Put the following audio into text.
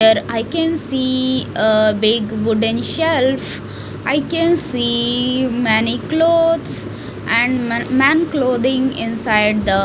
here I can see a big wooden shelf I can see many clothes and ma man clothing inside the --